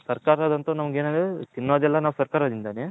ಸರ್ಕಾರದ ಅಂದ್ರೆ ತಿನ್ನೋದು ಎಲ್ಲಾ ಸರ್ಕರಿದೇನೆ.